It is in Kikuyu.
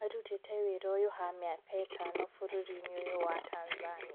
Arutite wĩra ũyũ ha mĩaka ĩtano bũrũri-inĩ ũyũ wa Tanzania